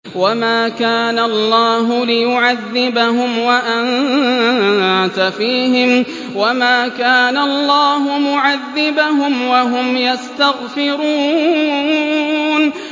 وَمَا كَانَ اللَّهُ لِيُعَذِّبَهُمْ وَأَنتَ فِيهِمْ ۚ وَمَا كَانَ اللَّهُ مُعَذِّبَهُمْ وَهُمْ يَسْتَغْفِرُونَ